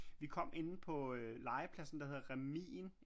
Vi kom inde på øh legepladsen der hedder Remin